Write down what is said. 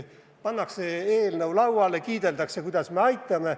Pannakse eelnõu lauale ja kiideldakse, kuidas me ikka aitame.